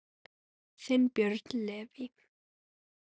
Þinn, Björn Leví.